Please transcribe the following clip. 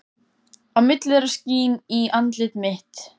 Á milli þeirra skín í andlit mitt.